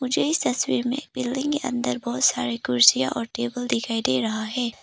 मुझे इस तस्वीर में बिल्डिंग के अंदर बहोत सारे कुर्सियां और टेबल दिखाई दे रहा है।